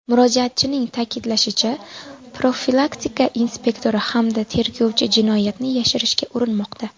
Murojaatchining ta’kidlashicha, profilaktika inspektori hamda tergovchi jinoyatni yashirishga urinmoqda.